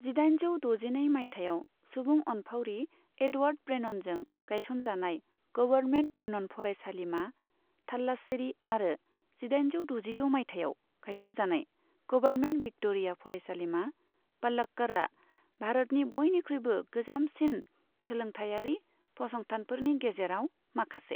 जिदाइजौ दजिनै मायथाइयाव सुबुं अनफावरि एडवार्ड ब्रेननजों गायसनजानाय गभर्नमेन्ट ब्रेनन फरायसालिमा, थालास्सेरी आरो जिदाइनजौ दजिद' मायथाइयाव गायसनजानाय गभर्नमेन्ट भिक्ट'रिया फरायसालिमा, पलक्कड़आ, भारतनि बयनिख्रुयबो गोजामसिन सोलोंथायारि फसंथानफोरनि गेजेराव माखासे।